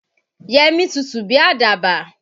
Yemí tutù bí àdàbà.